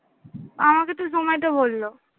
আমাকে তো Zomato বললো।